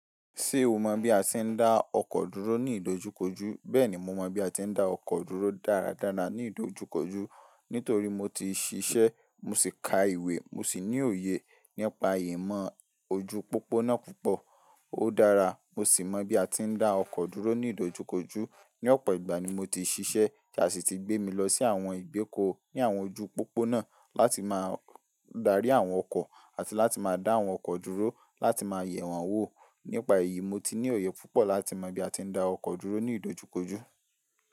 Ṣé o mọ bí a ti ń dá ọkọ̀ dúró ní ìdojúkọjú? Bẹ́ẹ̀ni, mo mọ bí a ti ń dá ọkọ̀ dúró dáradára ní ìdojúkọjú nítorí mo ti ṣiṣẹ́, mo sì ka ìwé, mo sì ní òye nípa ìmọ̀ ojú pópónà púpọ̀. Ó dára, mo sì mọ bí a ti ń dá ọkọ̀ dúró ní ìdojúkọjú. Ni ọ̀pọ̀ ìgbà ni mo ti ṣiṣẹ́ tí a sì ti gbé mi lọ sí àwọn ìgbéko ní àwọn ojú pópónà láti máa darí àwọn ọkọ̀ àti láti máa dá àwọn ọkọ̀ dúró láti máa yẹ̀ wọ́n wò. Nípa èyí, mo ti ní òye púpọ̀ láti mọ bí a ti ń dá ọkọ̀ dúró ní ìdojúkọjú.